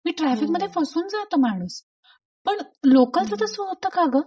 की ट्राफिक मध्ये फसून जात माणूस पण लोकल च तस होत का ग?